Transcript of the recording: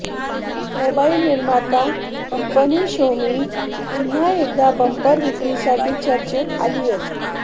mobile निर्माता company Xiaomi पुन्हा एकदा बंपर विक्रीसाठी चर्चेत आलीये